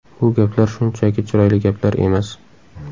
Bu gaplar shunchaki chiroyli gaplar emas.